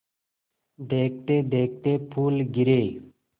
देखते देखते फूल गिरे